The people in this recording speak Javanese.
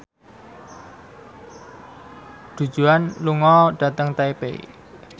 Du Juan lunga dhateng Taipei